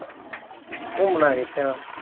ਘੁਮਣਾ